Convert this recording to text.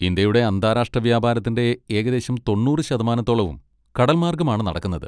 ഇന്ത്യയുടെ അന്താരാഷ്ട്ര വ്യാപാരത്തിൻ്റെ ഏകദേശം തൊണ്ണൂറ് ശതമാനത്തോളവും കടൽ മാർഗ്ഗമാണ് നടക്കുന്നത്.